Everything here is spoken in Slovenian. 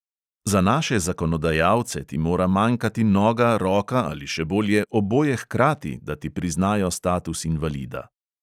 Za naše zakonodajalce ti mora manjkati noga, roka ali, še bolje, oboje hkrati, da ti priznajo status invalida.